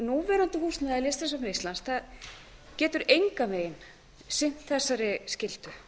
núverandi húsnæði listasafns íslands getur engan veginn sinnt þessari skyldu